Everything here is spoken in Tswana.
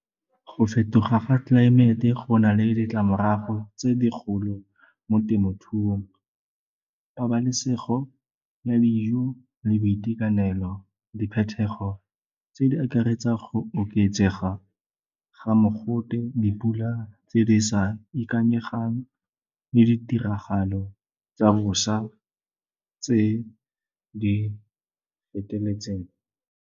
Go fetoga ga tlelaemete go na le ditlamorago tse di golo mo temothuong, pabalesego ya dijo le boitekanelo. Diphetogo tse di akaretsang go oketsega ga mogote, dipula tse di sa ikanyegang le ditiragalo tsa bosa tse di feteletseng.